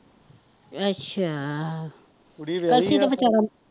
ਅੱਛਾ ਕਲਸੀ ਤੇ ਵਿਚਾਰਾ